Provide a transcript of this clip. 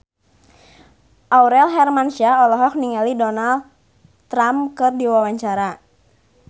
Aurel Hermansyah olohok ningali Donald Trump keur diwawancara